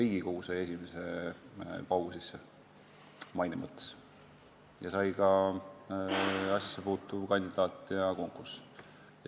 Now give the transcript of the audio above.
Siis sai esimese paugu maine mõttes Riigikogu ning samamoodi ka asjasse puutuv kandidaat ja konkurss.